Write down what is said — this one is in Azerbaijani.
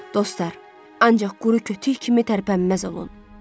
Dostlar, ancaq quru kötük kimi tərpənməz olun.